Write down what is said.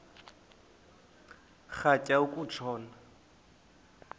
rhatya uku tshona